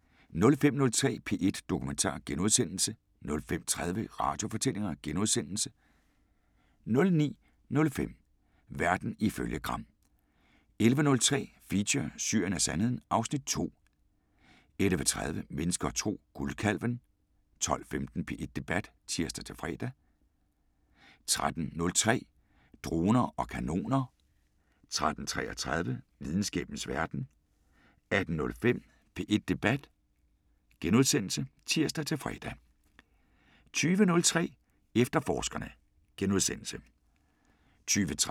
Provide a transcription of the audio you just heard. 05:03: P1 Dokumentar * 05:30: Radiofortællinger * 09:05: Verden ifølge Gram 11:03: Feature: Syrien og Sandheden (Afs. 2) 11:30: Mennesker og Tro: Guldkalven 12:15: P1 Debat (tir-fre) 13:03: Droner og kanoner 13:33: Videnskabens Verden 18:05: P1 Debat *(tir-fre) 20:03: Efterforskerne *